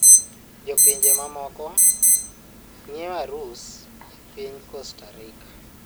Jo pinje mamoko ng'iewo arus e piny Costa Rica